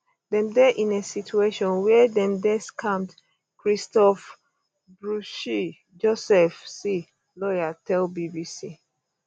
dem dey in a situation wia dem dey scammed christophe bruschi joseph c lawyer tell bbc